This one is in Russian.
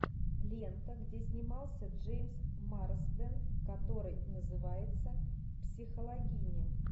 лента где снимался джеймс марсден который называется психологини